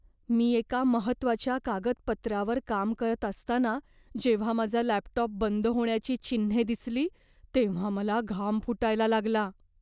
मी एका महत्त्वाच्या कागदपत्रावर काम करत असताना जेव्हा माझा लॅपटॉप बंद होण्याची चिन्हे दिसली तेव्हा मला घाम फुटायला लागला.